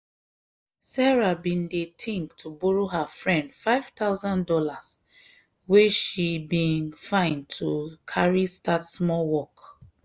sarah bin dey think to borrow her friend five thousand dollars wey she been find to carry start small work.